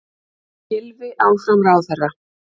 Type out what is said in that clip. Gylfi áfram ráðherra